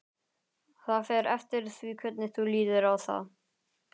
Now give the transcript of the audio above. Það fer eftir því hvernig þú lítur á það.